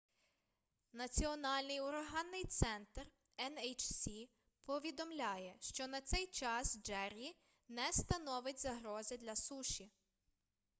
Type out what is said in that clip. національний ураганний центр nhc повідомляє що на цей час джеррі не становить загрози для суші